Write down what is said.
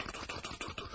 Dur, dur, dur, dur, dur.